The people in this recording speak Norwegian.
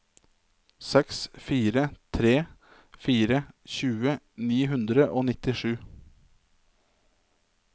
seks fire tre fire tjue ni hundre og nittisju